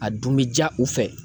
A dun bi ja u fɛ.